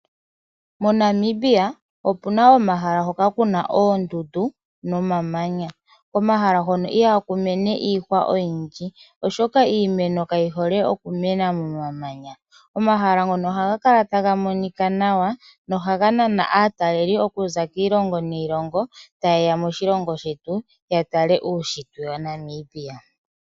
MoNamibia opuna omahala mpoka pu na oondundu nomamanya. Komahala hono ihaku meme iimeno oyindji oshoka iimeno ihayi mene nawa momamanya. Omahala ngono ohaga kala taga monika nawa nohaga nana aatalelipo taya zi kiilongo niilongo opo ye ye ya tale uushitwe wa Namibia.